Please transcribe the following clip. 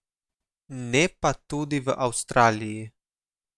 Ne pa tudi v Avstraliji.